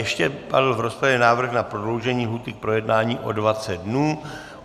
Ještě padl v rozpravě návrh na prodloužení lhůty k projednání o 20 dnů.